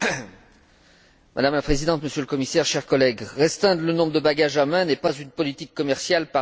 Madame la Présidente, Monsieur le Commissaire, chers collègues, restreindre le nombre de bagages à main n'est pas une politique commerciale parmi tant d'autres.